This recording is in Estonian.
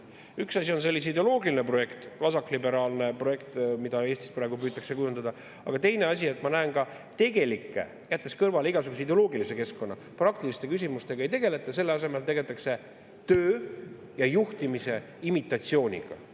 Üks asi on see ideoloogiline projekt, vasakliberaalne projekt, mida Eestis praegu püütakse kujundada, aga teine asi on, ma näen, et tegelike – jättes kõrvale igasuguse ideoloogilise keskkonna – praktiliste küsimustega ei tegeleta, selle asemel tegeletakse töö ja juhtimise imitatsiooniga.